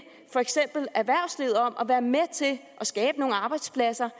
for eksempel erhvervslivet om at være med til at skabe nogle arbejdspladser